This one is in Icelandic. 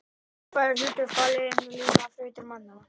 Rafael er það hlutverk falið að lina þrautir mannanna.